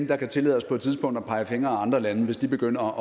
der kan tillade os på et tidspunkt at pege fingre ad andre lande hvis de begynder